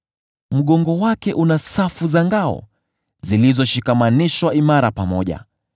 Mgongo wake una safu za ngao zilizoshikamanishwa imara pamoja;